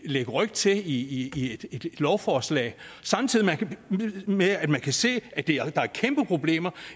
lægge ryg til i et lovforslag samtidig med at man kan se at der er kæmpeproblemer